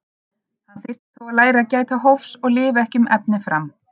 Hann þyrfti þó að læra að gæta hófs og lifa ekki um efni fram.